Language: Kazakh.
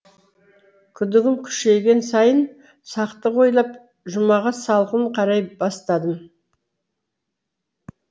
күдігім күшейген сайын сақтық ойлап жұмаға салқын қарай бастадым